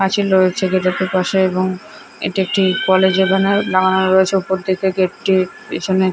পাঁচিল রয়েছে গেটেরটির পাশে এবং এটি একটি কলেজ লাগানো রয়েছে উপদিকে গেট টির পিছনে--